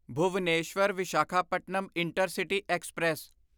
Bhubaneswar Visakhapatnam intercity express